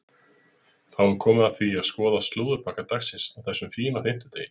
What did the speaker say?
Þá er komið að því að skoða slúðurpakka dagsins á þessum fína fimmtudegi.